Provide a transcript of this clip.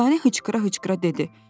Dürdanə hıçqıra-hıçqıra dedi: